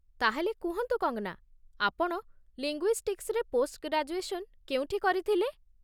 ତା'ହେଲେ, କୁହନ୍ତୁ, କଙ୍ଗ୍‌ନା, ଆପଣ ଲିଙ୍ଗୁଇଷ୍ଟିକ୍ସ୍‌ରେ ପୋଷ୍ଟ ଗ୍ରାଜୁଏସନ୍ କେଉଁଠି କରିଥିଲେ?